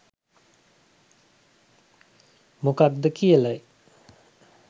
මොකද්ද කියලයි.